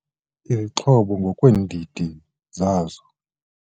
izixhobo ngokweendidi zazo